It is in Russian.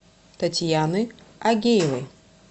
татьяны агеевой